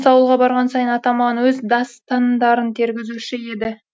ауылға барған сайын атам маған өз дас тан дарын тергізуші еді